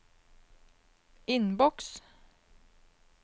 innboks